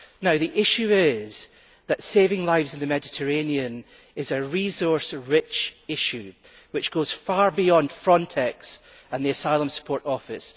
Now the issue is that saving lives in the Mediterranean is a resource rich issue which goes far beyond Frontex and the Asylum Support Office.